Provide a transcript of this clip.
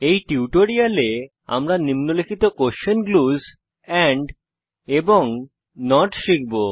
এই টিউটোরিয়ালে আমরা নিম্নলিখিত question glues question glues and not শিখব